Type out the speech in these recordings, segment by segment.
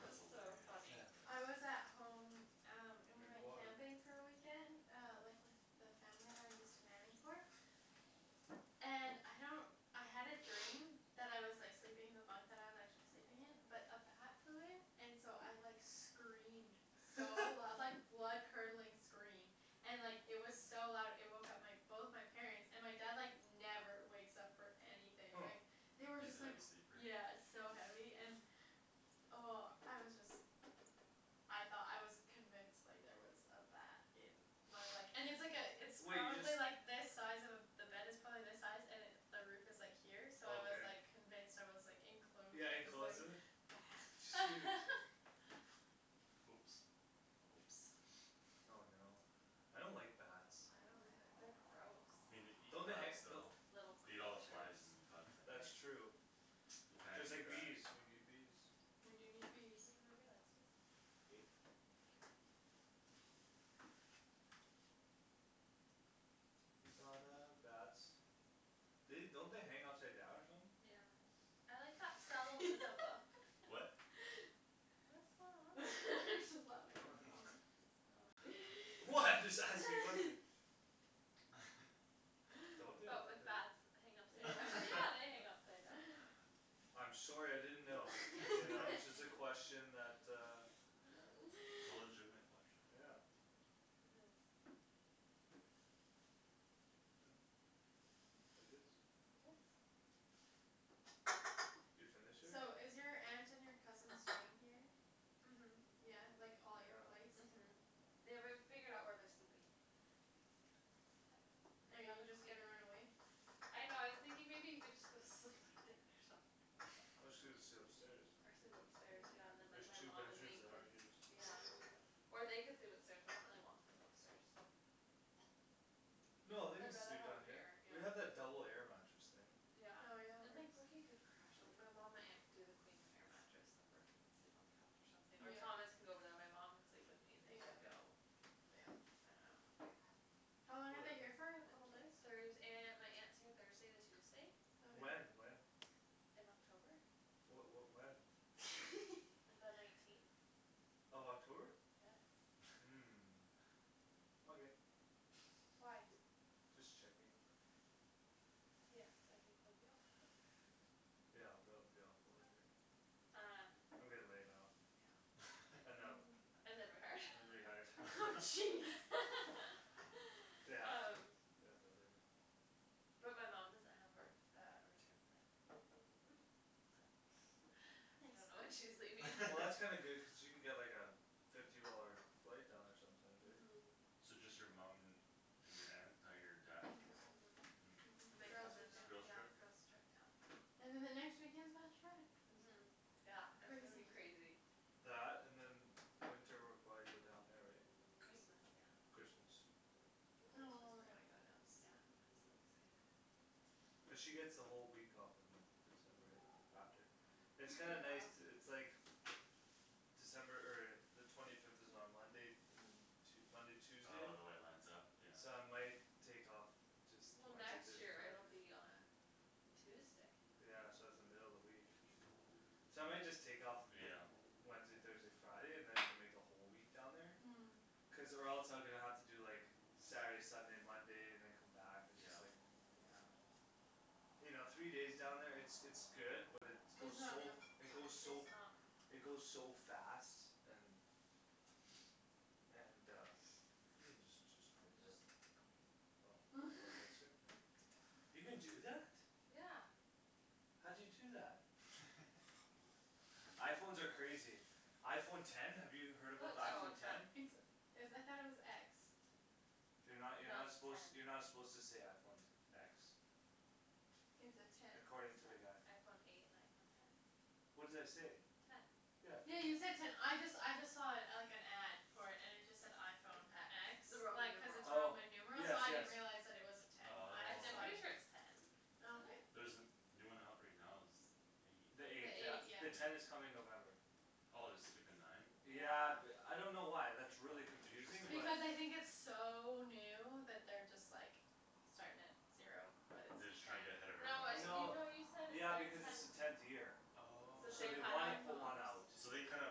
it was that's so hilarious funny yeah I was at home um and we drink went water camping for a weekend uh like with the family that I used to nanny for and I don't I had a dream that I was like sleeping in the bunkbed I was actually sleeping in but a bat flew in and so I like screamed so loud like blood curdling scream and it was like so loud it woke up my both my parents and my dad like never wakes up for anything huh like they were he's a just like heavy sleeper yeah so heavy and oh I was just I thought I was convinced like there was a bat in my like and it's like a it's wait you just probably like this size of a the bed is probably this size and it the roof is like here so I was okay like convinced I was like enclosed yeah enclosed with with the it ba- shoot bat oops oh no I don't like bats uh- uh they're gross me nei- don't they han- don- though little beat all creatures flys and bugs at that's night true you kinda just need like bees that we need bees we do need can you bees move your legs please thank you bats they don't they hang upside down or something yeah I like that Stellaluna book what what's going on over there? what oh what I'm just asking nothing don't they I but thought with they bats hang upside yeah down yeah they hang upside down I'm sorry I didn't know you its know it's just a okay question that uh it's a legitimate question yeah it is huh it is it is you finish it? so is your aunt and your cousin staying here then? uh-huh yeah like all at your yeah place uh-huh they w- haven't figured out where they're sleeping are you just gonna run away? I know I was thinking maybe he could just go sleep with Dan or something Or just sle- sleep upstairs or sleep upstairs yeah yeah and then there's like my two mom and bedrooms me that can aren't used yeah or they could sleep upstairs but I really don't want people upstairs no they can I'd rather sleep have down them here here yeah we have that double air mattress thing yeah oh yeah and there's like Brooky could crash like my mom my aunt could do the queen air mattress and then Brooky could sleep on the couch or something or Thomas yeah could go over there and my mom could sleep with me and they can yeah go yeah I I don't know how long are they whatever here for a couple days? Thurs- aunt my aunt's here Thursday to Tuesday when okay when in October wha- what when the nineteenth of October yes huh okay why just checking yes I think you'll be off the yeah I'll probably be off work right um I'm getting laid off yeah and them ooh and then rehired and rehired jeez they have to um they have to lay me off but my mom doesn't have her uh a return flight oh so I don't nice know when she's leaving well that's kinda good cause she can get like a fifty dollar flight down there sometimes right uh-huh so just your mum and your aunt not your dad uh- uh huh girls' it's a weekend girls' yeah trip girls' trip yeah and then the next weekend's bachelorette uh-huh yeah it's gonna be crazy crazy that and then winter we'll probably go down there right Christmas yeah Christmas oh yeah I'm so excited cuz she get's the whole week off in December yeah after a it's week kinda and a nice half to it's like December er the twenty fifth is on Monday and then Tue- Monday Tuesday oh the way it lines up yeah so I might take off just well Wednesday next Thursday year it'll Friday be on Tuesday yeah so its the middle of the week so I might just take off yeah Wednesday Thursday Friday and then we can make a whole week down there hm cuz or else I'm gonna have to do like Saturday Sunday Monday and then come back and just yeah like yeah you know three days down there it's it's good but its it's goes not so f- enough it goes so it goes so fast and and uh you can just just I was just flip it okay oh you can do that? yeah how'd you do that? iPhones are crazy iPhone ten have you heard about the oh iPhone ten ten it's is I though it was x you're no no you're not its a suppose ten you're not suppose to say iPhone te- x its a ten according ten to the guy iPhone eight and iPhone ten what did I say ten yeah you ten said ten I just I just saw it like an ad for it and it just said iPhone X x the Roman like cuz numeral its oh Roman numeral yes so I yes didn't realize it was a ten I I just I'm thought pretty sure it it's oh ten oh okay isn't it there's the the new one out right now is eight the the the eight eight yeah eight the yeah yeah ten yeah is coming in November oh they're skippin nine yeah yeah th- f I don't know why that's really oh confusing but interesting because I think its so new that they're just like starting at zero but they're it's just ten trying to get ahead of no it- you everyone no else no you said yeah it's because its the their tenth tenth year since so oh they've they had wanna oh put one out iPhones so they kinda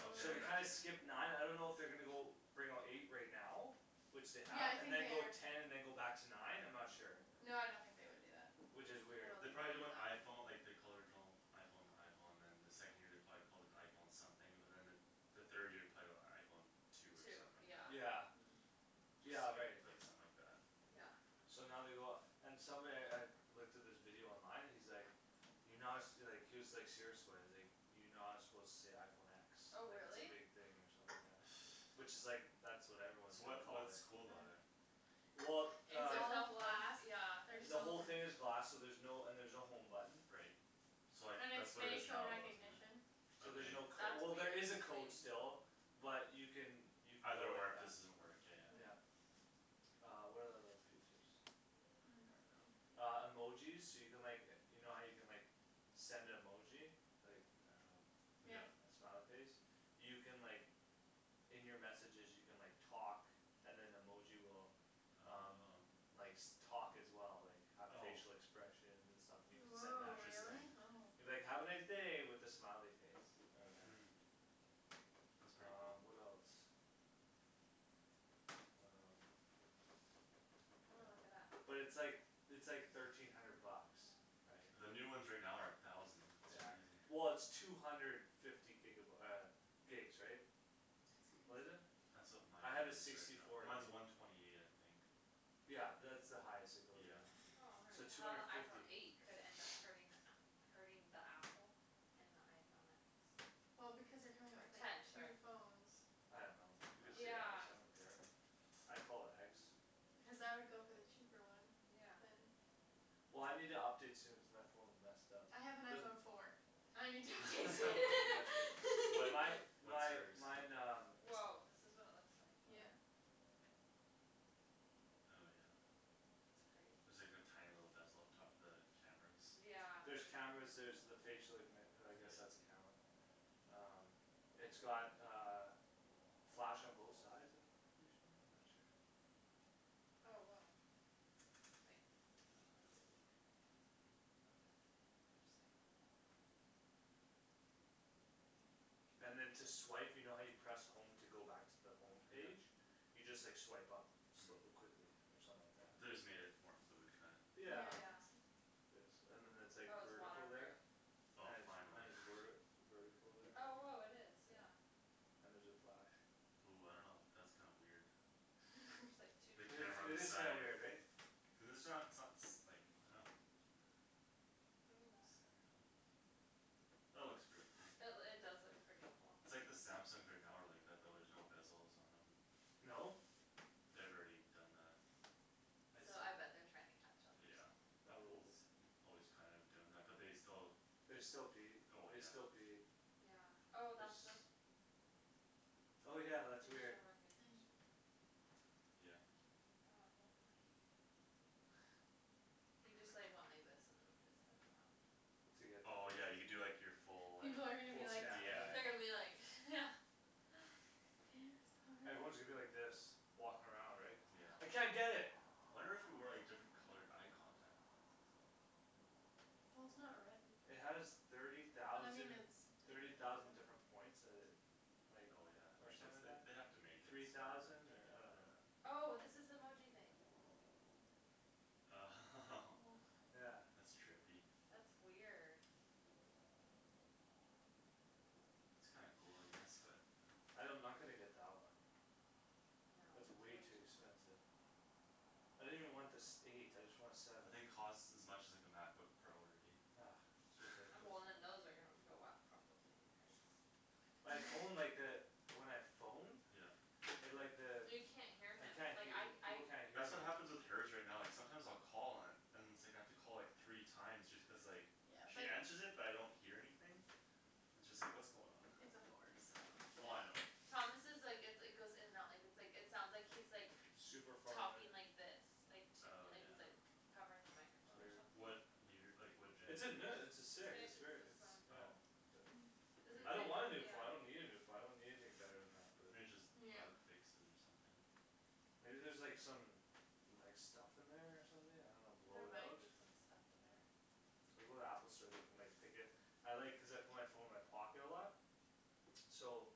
okay so I they kinda got you skip nine I don't know if they're gonna go bring out eight right now which they yeah have I and think then they go are ten and then go back to nine I'm not sure no I don't think they would do that which is I weird don't they think probably they'd did do when that iPhone like they called the original iPhone the iPhone and then the second year they probably called it iPhone something but then the the third year probably got iPhone two or two something like that yeah yeah yeah just right skipped like something like that yeah so now they go off and somebody I looked at this video online and he's like you're not su- like he was like serious about it he's like you're not suppose to say iPhone x oh like its a really big thing or something yeah which is like that's what everyone is so gonna what's call it what's cool about it? well it's uh all glass yeah there's the whole no thing is glass so there's no and there's no home button right so like and its that's what it is facial now isn't recognition it so there's okay no cod- that's well there weird is a to me code still but you can you can go either or like if that this doesn't work yeah yeah yeah uh what are the other features I don't know I don't know uh emojis so you can like e- you know how you can like send a emoji like I don't yeah yeah know a smiley face you can like In your messages you can like talk and then emoji will um oh likes talk as well like have oh facial expressions and stuff and you can send woah that to them really interesting oh you can be like "have a nice day" with a smiley face or whatever hm that's pretty um cool what else um I'm gonna look it up yeah but its like its like thirteen hundred bucks right the new ones right now are a thousand yeah that's crazy well its two hundred fifty giga by- uh gigs right that's that's what is crazy crazy it that's what mine I have a is right sixty now four gig mine's a one twenty eight I think yeah that's the highest it goes right yeah now so two how the hundred iPhone fifty eight could end up hurting the app hurting the apple and the iPhone x well because they're coming out or with like ten two sorry phones I don't know you can say x yeah I don't care I call it x cuz I would go for the cheaper one yeah then well I need to update soon cuz my phone's messed up I have an there's iPhone four I need to update well soon my what what's my yours mine um woah this is what it looks like all yeah right oh yeah that's crazy there's like a tiny little bezel up top for the cameras yeah there's cameras there's the facial ignit- uh I guess that's yeah a camera um it's got uh flash on both sides of them I'm pretty sure I'm not sure oh woah wait maybe it'll do it again oh no it won't I just like unlocked and then to swipe you know how you press home to go back to the home yeah page you just like swipe up hm quickly or something like that they just made it more fluid kinda yeah yeah yeah yes and then that's like oh it's water vertical proof there oh and it's and finally it's werti vertical there oh and woah it is yeah yeah and there's a flash ooh I don't know that's kinda weird there's like two the it is camera on it the is cameras kinda side weird eh cuz its not so- s like I don't know look at that centered almost that looks pretty cool that loo- it does look pretty cool its like the Samsungs are now are like that though there's no bezels on them no? they've already done that I so I see bet they're trying to catch up or yeah something Apple's probably always kinda doing that but they still they still beat oh they yeah still beat yeah oh it's that's the oh yeah that's weird facial recognition yeah oh it won't play again he just like went like this and moved his head around to get oh yeah the you do like your full like people are gonna be full like scan or yeah they're yeah gonna whatever be like yeah dance party everyone's gonna be like this walking around right cuz I yeah can't get it wonder if you wear like different colored eye contact lenses though it has thirty thousand thirty thousand different points that it like oh yeah or I guess something like they that they'd have to make it three smarter thousand to or get I don't that know oh this is the emoji thing oh yeah that's trippy that's weird it's kinda cool I guess but I don- I'm not gonna get that one no it's it's way way too too expensive expensive I didn't even want the sev- eight I just want a seven I think costs as much as like a MacBook Pro already ah it's and ridiculous well man then those are gonna go up probably in price my phone like that when I phone yeah it like the you can't hear I him can't like hea- I people I can't hear that's me what happens with her's right now like sometimes I'll call and and it's like I have to call like three time just cuz like she answers it but I don't hear anything it's just like what's going on it's a four so oh I know yeah Thomas' like it its goes in and out like its like it sounds like he's super far away talking like this like to me oh like yeah he's like covering the it's microphone or weird something what year like what genera- its a ne- its its a h- six it's its very this its one yeah oh but hm I weir- don't wanna a new phone I don't yeah need a phone I don't need anything bette than that but maybe just yeah bug fixes or something maybe there's like some like some stuff in there or something I don't know blow there it out might be some stuff in I know there I'll go to the Apple store they can like pick it I like cuz I put my phone in my pocket a lot so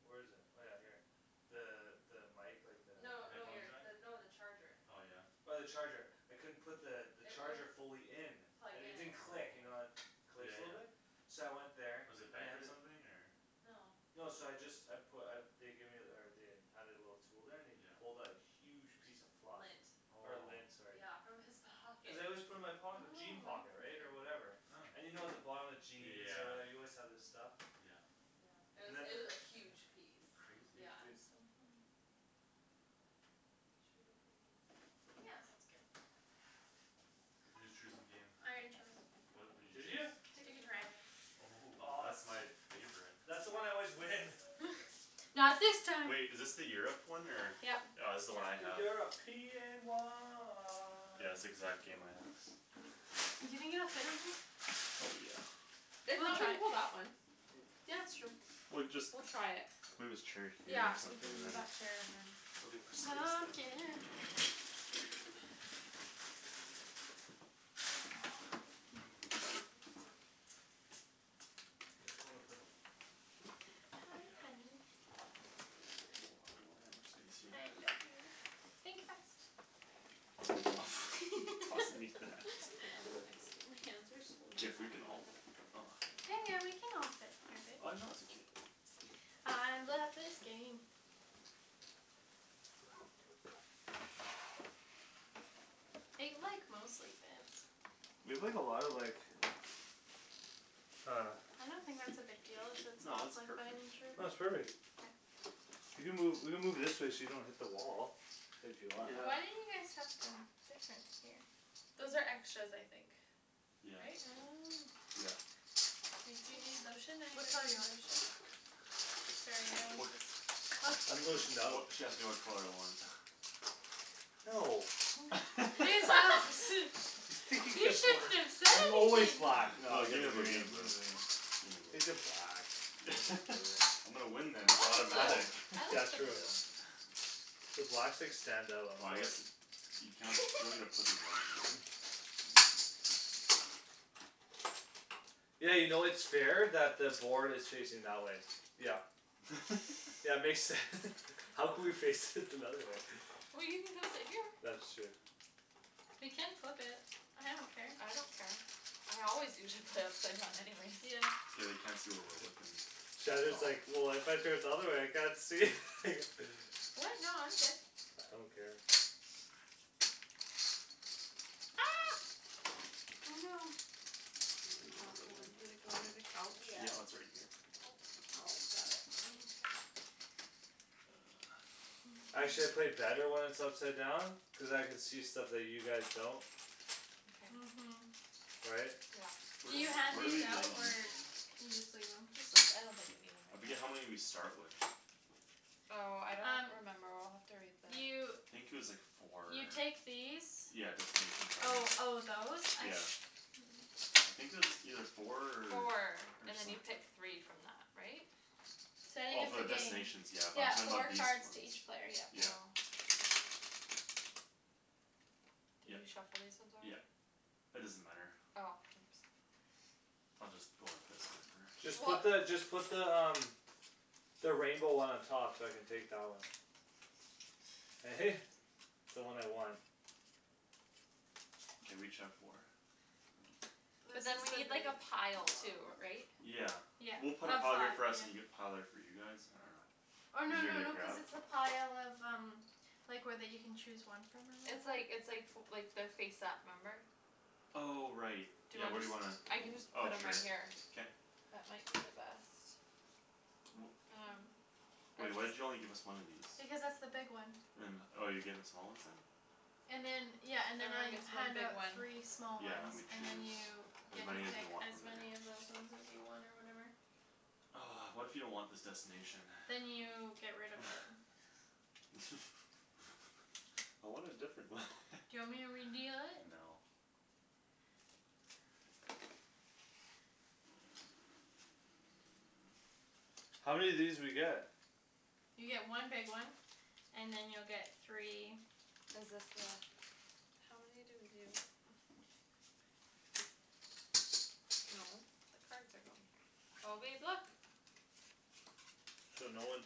where's it oh yeah here the the mic like the no no headphone you're jack no the charger oh yeah oh the charger I couldn't put the it charger wouldn't fully in plug and it in didn't click you know the it oh yeah clicks a little yeah bit so I went there was it and they bent had or th- something or no no so I just I put uh they gave ther- or they had it a little tool there and he yeah pulled a huge piece p- of fluff lint or lint oh sorry yeah from his pocket cuz I always put it in my oh pocket jean pocket right or interesting whatever huh and you know at the bottom of jeans or yeah whatever you always have this stuff yeah yeah it and was then it was a huge piece crazy yeah that's so funny but should we go play games now yeah that sounds good who's choosing game? I already chose what what'd you did you choose Ticket Ticket to to Ride Ride oh oh that's that's my my favorite that's the one I always win not this time wait is this the Europe one or yep ah this's the one I have yeah it's exact game I have do you think it'll fit on here? oh yeah if we'll not we try can it pull that one yeah it's true we cu- just we'll try it move this chair here yeah or we something can and then move that chair and then they'll be worse days than pumpkin ah I just wanna put the hi uh honey oh I don't have much space here I love you think fast you tossing me that it also makes my hands are so if we dry can all yeah yeah we can all fit here ah babe no it's okay I love this game it like mostly fits we played a lot of like uh I don't think that's a big deal if its no all it's perfect no its perfect you can move you can move this way so you don't hit the wall if you want why yeah don't you guys tucked in different here those are extras I think yeah right oh yeah makes do you need sense lotion which anybody color do you need want? lotion? uch sorry I'm wha- just I'm lotioned wh- out what she asked me what color I want no you shouldn't have said I'm always anything black naw I you got gimme the the blue green gimme the blue take the black I'll take blue I'm gonna win this I it's like the blue automatic oh I yeah like the true blue the blacks like stand out on ah the I board guess you can- you don't need to put these on there don't worry yeah you know its fair that the board is facing that way yup yeah makes sense How could we fix it another way well you can come sit here that's true we can flip it I don't care I don't care I always usually play upside down anyways yeah it's okay they can't see where we're looking Shandryn is like well if I turn it the other way I can't see what no I'm good I don't care ah oh no oh I I don't dropped know where it one went did it go under the couch yeah it's yeah right here Paul's got it right Actually I play better when it's upside down cuz I could see stuff that you guys don't uh- okay hm right yeah where can you d- hand where do these we lay out these or again you just leave them just leave I don't think we need them I right forget how now many we start with oh I don't um remember we'll have to read you I the think it was like four or you take these yeah destination oh cards oh those I yeah se- I think it was either four four or and then some- you pick three from that right? starting oh of for the the game destination yeah but I'm yeah talking four about these cards to ones each player yep yeah oh did yep you shuffle these ones yep already? it doesn't matter oh oops I'll just go like this whatever just put weh the just put the um the rainbow one on top so I can take that one eh the one I want okay we each have four but then this we need like is a the pile too big ri- right one yeah we'll put a oh pile five here for us and you have yeah a pile there for you guys I don't know or no easier no to no cuz grab it's the pile of um like where that you can chose one from or it's whatever like it's like fo like their face up remember oh right do you yeah where do underst- you wanna I can just oh put them right sure here k that might be the best wh- um are wait why'd these you only give us one of these because that's the big one and oh you're getting the small ones then and then yeah and then I everyone gets one hand big out one three small yeah and than ones we and then choose you as get to many as we pick want as from there many of those ones as you want or whatever what if you don't want this destination then you get rid of it I want a different one do you want me to redeal it? no how many of these do we get? you get one big one and then you'll get three is this the how many do we do no the cards are going here oh babe look so no one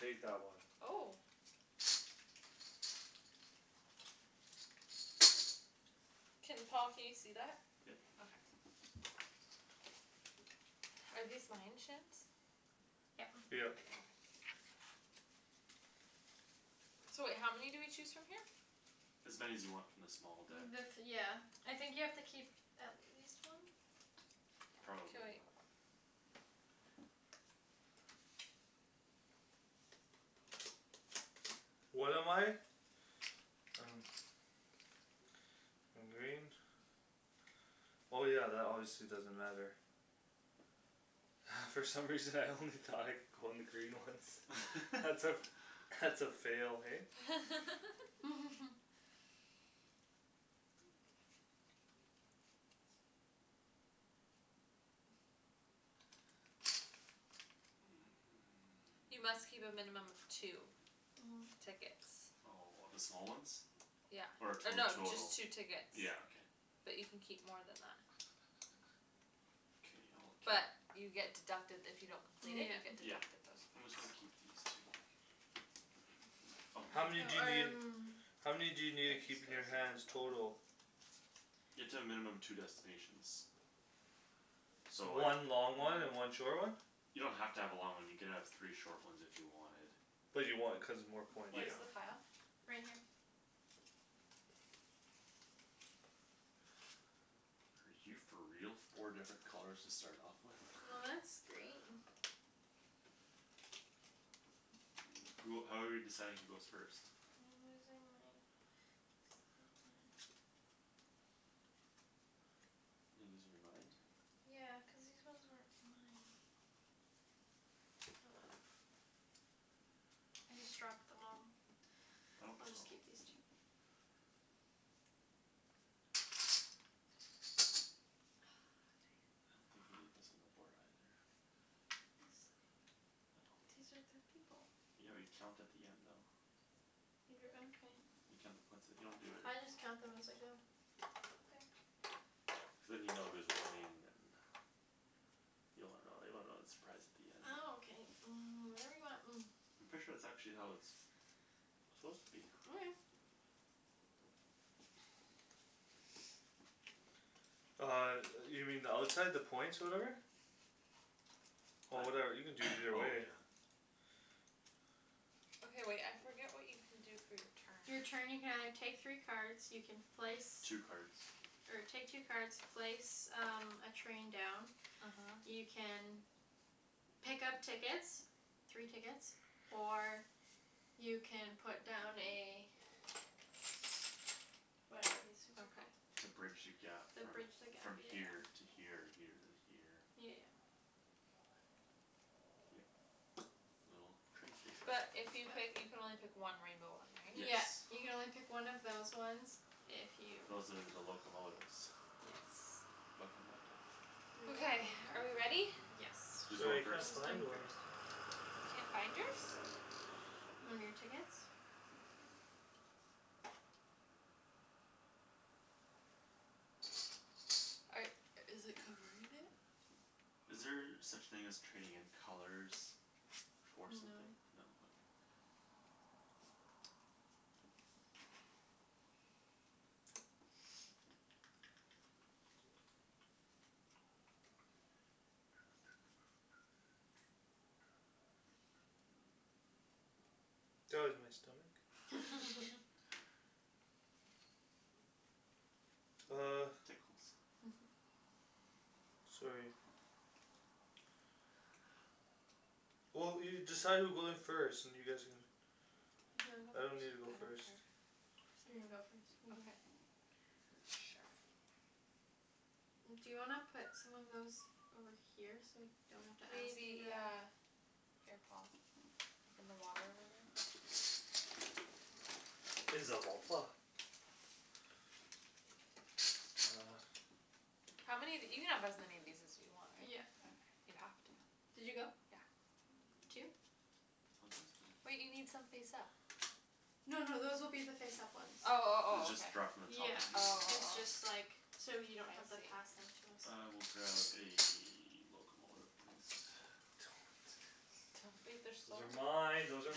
take that one oh can Paul can you see that? yep okay are these mine Shans yep yep okay so wait how many do we choose from here? as many as you want from the small deck the th- yeah I think you have to keep at least one k probably wait what am I? I don't I'm green oh yeah that obviously doesn't matter from some reason I only thought I could go on the green ones that's a that's a fail hey you must keep a minimum of two oh tickets oh of the small ones yeah or or two no just total two tickets yeah okay but you can keep more than that k I'll keep but you get deducted if you don't complete it you yeah get yeah deducted those I'm points just gonna keep these two oh how here oh many do you need um how many do you need to keep in your hands total? you have to have a minimum two destinations so like one long one and one short one you don't have to have a long one you can have three short ones if you wanted but you want it cuz its more points where's yeah the pile? right here are you for real four different colors to start off with well that's great who how are we deciding who goes first I'm losing my are you losing your mind yeah cuz these ones weren't mine oh well I just dropped them all I don't I'll just oh keep these two ah dang I don't think it we need this on the board either this no these are the people yeah we count at the end though you're you count the points at you don't do it I just count them as I go okay cuz than you know who's winning and you don't wanna know you wanna know the surprise at the end ah ok um whatever you want I'm pretty sure that's actually how it suppose to be okay uh yo- you mean the outside the points whatever oh what whatever you can do either oh way yeah okay wait I forget what you can do for your you're turn turn you can either take three cards you can place two cards or take two cards place um a train down uh-huh you can pick up tickets three tickets or you can put down a whatever these things are okay called to bridge the gap the from bridge the gap from yeah yeah here to here or here to here yeah yeah yeah a little train station but if you pick you can only pick one rainbow one right? yes yeah you can only pick one of those ones if you those are the locomotives yes locomotive okay are we ready locomotive yes who's going who's I first can't going find first? one you can't find yours? are i- is it behind it? is there such thing as trading in colors? for something no no okay that was my stomach oh tickles sorry well you decide who goes first and you guys can do you I don't need to wanna go go I first don't first care you can go first okay sure do you wanna put some of those over here so we don't have to maybe ask you yeah to here Paul like in the water over there uh how many of you can have as many of these as you want yeah right you have to did you go yeah two wait you need some face up no no those will be the face up ones oh oh you oh okay just draw from the top yeah if you wan- oh it's oh just oh like so you I don't have to see pass them to us I will grab a locomotive please those are mine those are